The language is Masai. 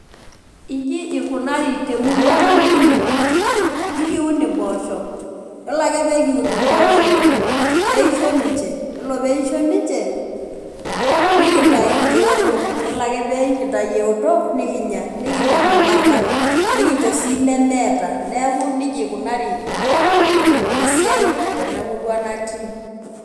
Inji ikunari temurua natii, ikun impoosho yilo ake nikiun mpoosho neisho ninye nikintau eoto ore ake pekintau looto nikicho si lemeata neakubnejia ikunari esiai tenamurua natii.